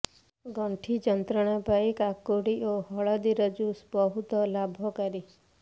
ଗଣ୍ଠି ଯନ୍ତ୍ରଣା ପାଇଁ କାକୁଡ଼ି ଓ ହଳଦୀର ଜୁସ୍ ବହୁତ ଲାଭକାରୀ